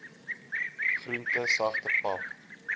groente sagte pap